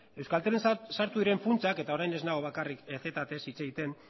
euskaltelen sartu diren funtsak eta orain ez nago bakarrik ztez hitz egiten